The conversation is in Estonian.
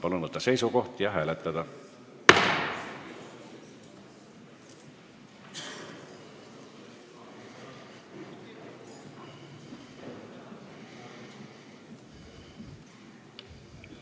Palun võtta seisukoht ja hääletada!